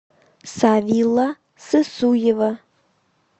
савилла сысуева